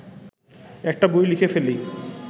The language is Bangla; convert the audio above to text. একটা বই লিখে ফেলি